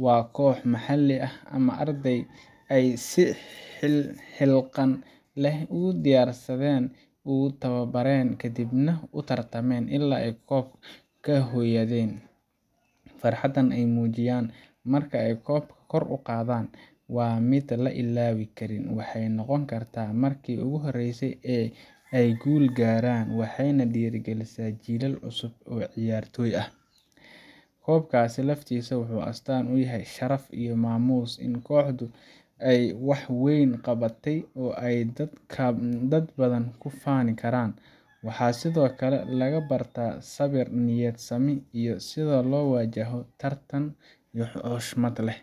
oo kooxo maxalli ah ama arday ah ay si is xilqaan leh u diyaariyeen, u tababareen, kadibna u tartameen ilaa ay koob la hoydeen. Farxadda ay muujiyaan marka ay koobka kor u qaadaan waa mid aan la ilaawi karin – waxay noqon kartaa marki ugu horreysay ee ay guul weyn gaaraan, waxayna dhiirrigelisaa jiilal cusub oo ciyaartoy ah. Koobka laftiisa wuxuu astaan u yahay sharaf iyo maamuus – in kooxdu ay wax weyn qabatay oo ay dad badan ku faani karaan. Waxaa sidoo kale laga bartaa sabir, niyad-sami, iyo sida loo wajaho tartan si xushmad leh.